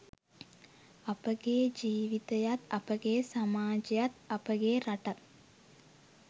අපගේ ජීවිතයත් අපගේ සමාජයත් අපගේ රටත්